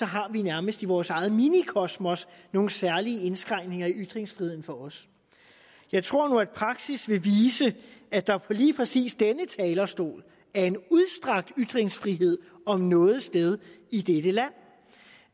har vi nærmest i vores eget minikosmos nogle særlige indskrænkninger i ytringsfriheden for os jeg tror nu at praksis vil vise at der lige præcis på denne talerstol er en udstrakt ytringsfrihed om noget sted i dette land